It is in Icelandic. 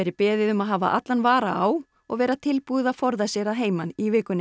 beðið um að hafa allan vara á og vera tilbúið að forða sér að heiman í vikunni